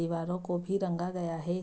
दीवारों को भी रंगा गया है।